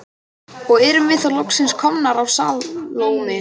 Og erum þá loksins komnar að Salóme.